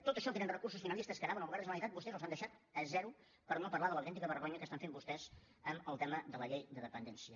tot això que eren recursos finalistes que anaven al govern de la generalitat vostès ho han deixat a zero per no parlar de l’autèntica vergonya que estan fent vostès amb el tema de la llei de dependència